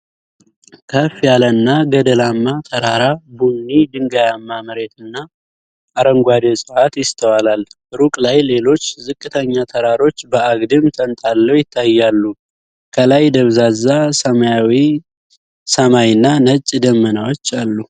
ከፍ ያለና ገደላማ ተራራ፣ ቡኒ ድንጋያማ መሬትና አረንጓዴ እፅዋት ይስተዋላል። ሩቅ ላይ ሌሎች ዝቅተኛ ተራሮች በአግድም ተንጣለው ይታያሉ። ከላይ ደብዛዛ ሰማያዊ ሰማይና ነጭ ደመናዎች አሉ።